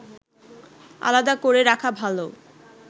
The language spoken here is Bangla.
আলাদা করে রাখা ভালো